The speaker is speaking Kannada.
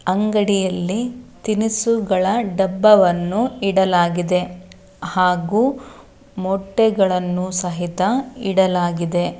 ಅಂಗಡಿಯಲ್ಲಿ ತಿನಿಸುಗಳ ಡಬ್ಬವನ್ನು ಇಡಲಾಗಿದೆ ಹಾಗು ಮೊಟ್ಟೆಗಳನ್ನು ಸಹಿತ ಇಡಲಾಗಿದೆ.